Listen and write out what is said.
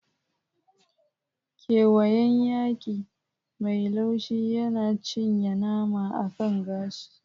Ƙewayen hayaƙi mai laushi yana cinye nama akan gashi.